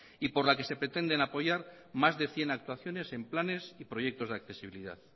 y por la que se pretenden apoyar más de cien actuaciones en planes y proyectos de accesibilidad